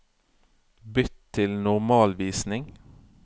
Bytt til normalvisning